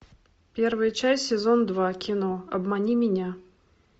первая часть сезон два кино обмани меня